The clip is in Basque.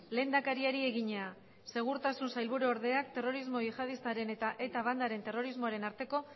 lehendakariari egina segurtasun sailburuordeak terrorismo jihadistaren eta eta bandaren terrorismoaren arteko